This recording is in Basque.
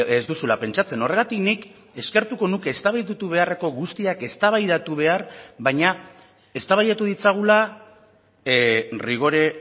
ez duzula pentsatzen horregatik nik eskertuko nuke eztabaidatu beharreko guztiak eztabaidatu behar baina eztabaidatu ditzagula rigore